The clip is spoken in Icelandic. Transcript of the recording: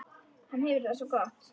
Hann hefur það svo gott.